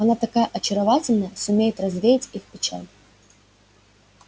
она такая очаровательная сумеет развеять их печаль